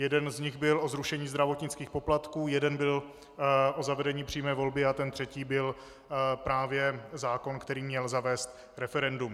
Jeden z nich byl o zrušení zdravotnických poplatků, jeden byl o zavedení přímé volby a ten třetí byl právě zákon, který měl zavést referendum.